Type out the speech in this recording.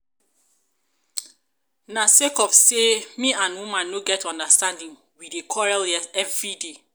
na sake of say me and woman no get understanding we dey quarrel everyday